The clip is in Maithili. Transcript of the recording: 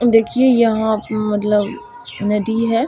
देखिए यहां मतलब नदी है।